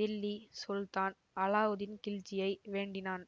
தில்லி சுல்தான் அலாவுதீன்கில்ஜியை வேண்டினான்